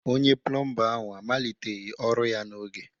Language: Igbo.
Onye plọmba ahụ amaliteghị ọrụ ya n'oge